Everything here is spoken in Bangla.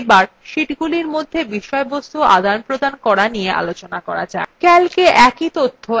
calc a একই তথ্য একাধিক sheetsএর একই cella লেখা যায়